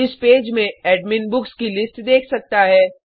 इस पेज में admin books की लिस्ट देख सकता है